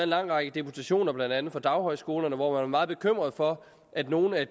lang række deputationer blandt andet fra daghøjskolerne hvor man er meget bekymrede for at nogle af